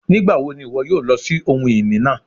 Nigbawo ni iwọ yoo lọ si ohun-ini naa?